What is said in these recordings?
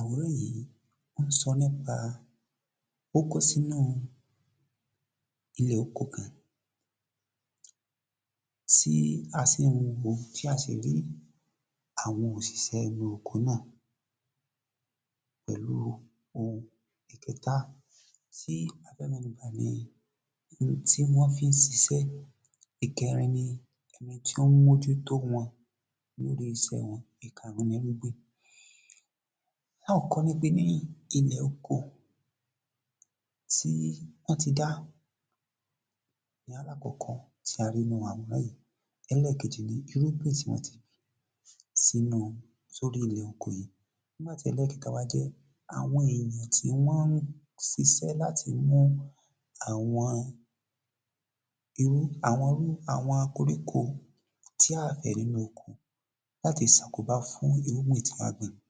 Àwòrán yìí, ó ní sọ nípa ó kó sínú ilẹ̀ oko kan, tí a sì ń wò ó, tí a sì ri àwọn òṣìṣẹ́ inú ọkọ náà, òhun ìkẹta sì ni àwọn ohun tí wọn fi ń ṣíṣe, ìkẹrin ni eni tó ń mójú tó wọn. Ìkarùn-ún ni…… Now Ká ní ilẹ̀ ọkọ tí wọ́n tí dá ní alàkókò tí a rí nínú àwòrán yìí, èkejì ni irúgbìn tí wọ́n tí gbìn sí inú… sórí ilẹ̀ ọkọ yìí nígbà tí elẹ̀kẹ́ta wá jẹ́ àwọn èèyàn ti wón ń ṣíṣe láti mú àwọn koríko tí àgbè rí nínú ọkọ láti ṣàkóbá fún irúgbìn tí àgbè gbìn.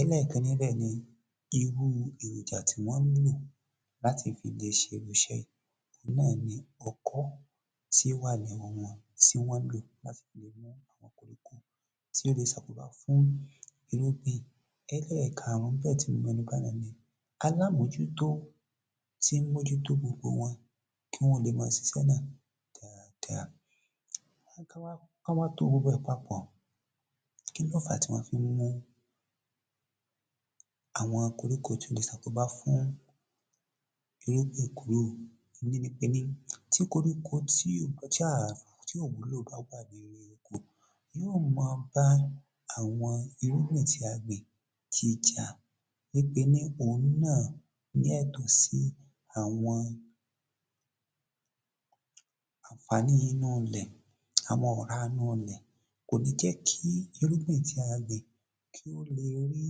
Elekẹrin níbẹ̀ ni irú èròjà tí wọ́n nílò láti lè fi ṣe irú ìṣe yìí: òun náà ni ọkọ́ tí ó wà ní ọwọ́ wọn tí wọn lò láti fi lè mú àwọn koríko tí ó lè ṣàkóbá fún irúgbìn. Elẹ́karùn-ún níbẹ̀ tí a lè rí ní alámójútó tí ń mójú tó gbogbo wọn ki wọn lè máa ṣiṣẹ́ náà dáadáa. Wọn wá to gbogbo rẹ̀ papọ̀, kí lọ fà á tí wọn fi ń mú àwọn koríko tí ó lè ṣe àkóbá fún irúgbìn kúrò? Ìkíni ni ti koríko tí ó bá wúlò bá wà nínú oko, yóò máa bá àwọn irúgbìn tí a gbìn jìjà ní pé òhun náà ni ẹ̀tọ́ sì àwọn àǹfààní inú ilẹ̀, àwọn ọ̀rá inú ilẹ̀, kò ní jẹ́ kí irúgbìn tí a gbìn kí ó le rí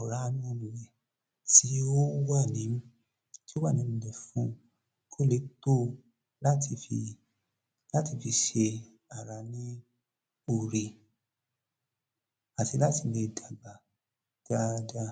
ọ̀rá inú ilẹ̀ tí ó wà nínú ilẹ̀ kí ó lè tó ò láti fi ṣe ara ní ọrẹ….. láti lè dàgbà dáadáa.